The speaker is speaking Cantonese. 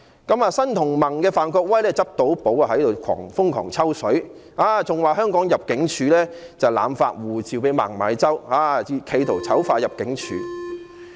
對此事件，新民主同盟的范國威議員便"執到寶"，瘋狂"抽水"，更說入境事務處濫發護照給孟晚舟，企圖醜化入境處。